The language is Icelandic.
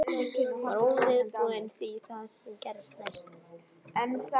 Ég var óviðbúin því sem gerðist næst.